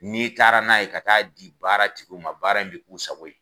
N'i taara n'a ye ka t'a di baara tigiw ma baara in be k'u sago ye